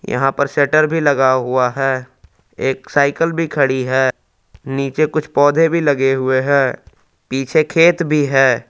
यहां पर सेटर भी लगा हुआ है एक साइकिल भी खड़ी है नीचे कुछ पौधे भी लगे हुए हैं पीछे खेत भी है।